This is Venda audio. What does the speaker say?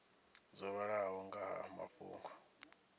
dzo vhalaho nga ha mafhungo